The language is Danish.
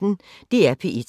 DR P1